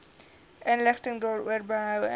inligting daaroor behoue